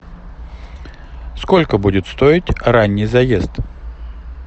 сколько будет стоить ранний заезд